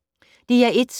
DR1